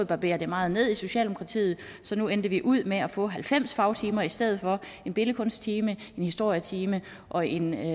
barberet meget ned i socialdemokratiet så nu endte vi ud med at få halvfems fagtimer i stedet for en billedkunststime en historietime og en